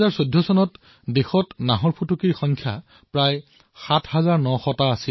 ২০১৪ চনত দেশত বাঘৰ সংখ্যা প্ৰায় ৭৯০০টা আছিল